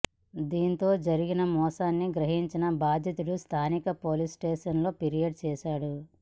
దీంతో జరిగిన మోసాన్ని గ్రహించిన బాధితుడు స్థానిక పోలీస్ స్టేషన్లో ఫిర్యాదు చేశాడు